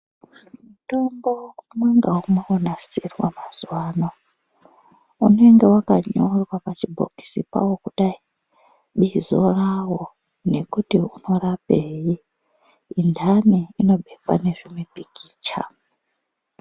Mutombo umwe ngaumwe wonasirwa mazuwa ano unenge wakanyorwa pachibhokisi pawo kudai bizo rawo nekuti unorapei intani inobekwa nezvimipikicha.